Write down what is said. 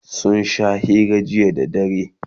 sun Sha hira jiya da dare